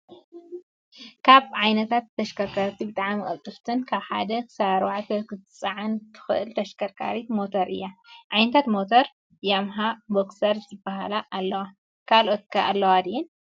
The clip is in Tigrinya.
ካብ ዓይነታት ተሽከርከርቲ ብጣዕሚ ቅልጥፍትን ካብ ሓደ ክሳብ ኣርባዕተ ክትፀዓን እትክእል ተሽከርካር ሞተር እያ። ዓይነታት ሞታር ያማሃ፣ ቦክሰር ዝብላ ኣለዋ። ካልኦት ከ ኣለዋ ድየን